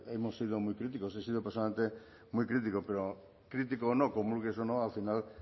hemos sido muy críticos he sido personalmente muy crítico pero crítico o no comulgues o no al final